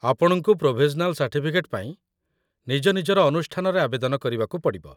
ଆପଣଙ୍କୁ provisional certificate ପାଇଁ ନିଜ ନିଜର ଅନୁଷ୍ଠାନରେ ଆବେଦନ କରିବାକୁ ପଡ଼ିବ